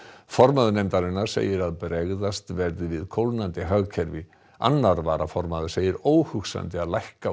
formaður nefndarinnar segir að bregðast verði við kólnandi hagkerfi annar varaformaður segir óhugsandi að lækka